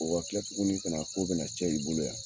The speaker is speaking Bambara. O kita tuguni kana k'o bɛna cɛ i bolo yan